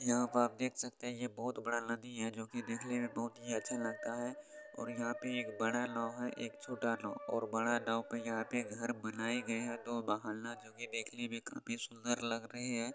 यहाँ पर आप देख सकते हैं ये बहोत बड़ा नदी है जोकि देखने में बहोत ही अच्छा लगता है और यहाँ पे एक बड़ा नाव है एक छोटा नाव और बड़ा नाव पे यहाँ पे एक घर बनाये गए हैं तो बाहर न जो कि देखने में काफी सुंदर लग रहे हैं।